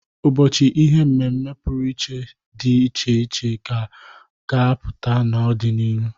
Ụbọchị ihe mmemme pụrụ iche dị iche iche ka a ga apụta n'ọ dị n'iru.